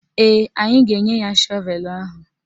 Ee, anyị ga-enye ya shọvelu ahụ.